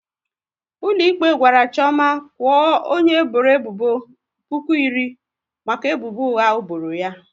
Ụlọikpe gwara Chioma kwuo onye bọrọ ebubo puku iri maka ebubo ụgha o bọrọ ya